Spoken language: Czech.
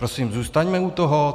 Prosím, zůstaňme u toho.